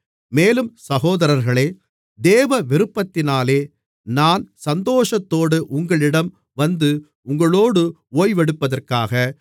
மேலும் சகோதரர்களே தேவ விருப்பத்தினாலே நான் சந்தோஷத்தோடு உங்களிடம் வந்து உங்களோடு ஓய்வெடுப்பதற்காக